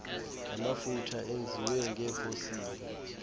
namafutha enziwe ngeefosili